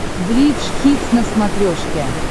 бридж хитс на смотрешке